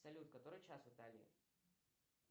салют который час в италии